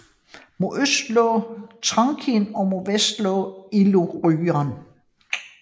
Mod øst lå Thrakien og mod vest Illyrien